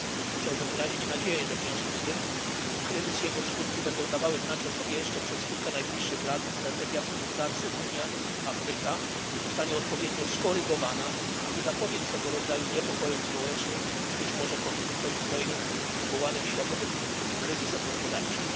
Chciałbym wyrazić nadzieję, że w związku z tym kryzys i jego skutki będą dawały znać o sobie jeszcze przez kilka najbliższych lat, a strategia współpracy Unia Afryka zostanie odpowiednio skorygowana, aby zapobiec tego rodzaju niepokojom społecznym i być może konfliktom zbrojnym wywołanym światowym kryzysem gospodarczym.